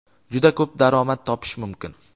juda ko‘p daromad topish mumkin.